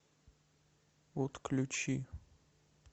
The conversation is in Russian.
отключи